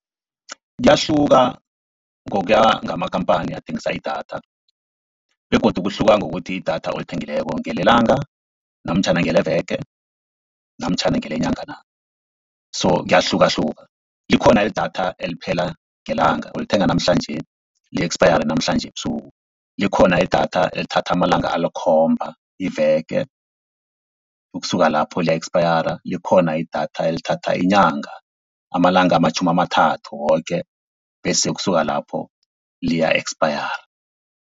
Kuyahluka ngokuya ngamakampani athengisa idatha begodu kuhluka ngokuthi idatha olithengileko ngelelanga namtjhana ngeleveke namtjhana ngelenyanga na. So kuyahlukahluka likhona idatha eliphela ngelanga, ulithenga namhlanje li-eksapayare namhlanje ebusuku, likhona idatha elithatha amalanga alikhomba iveke ukusuka lapho liya-ekspayara, likhona idatha elithatha inyanga amalanga amatjhumi amathathu woke, bese ukusuka lapho liya-ekspayara.